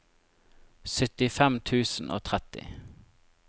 syttifem tusen og tretti